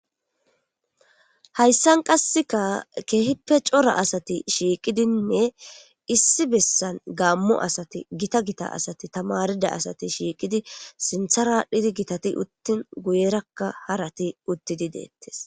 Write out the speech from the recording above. Hayssan qasseka cora asati shiiqidi issi beesan gamo asati gita,asati,tamarida asti shiiqidi sinthata uttin guyeraka qasse harati uttidi dettees.